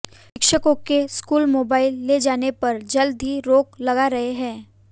शिक्षकों के school mobile ले जाने पर जल्द ही रोक लगा रहे हैं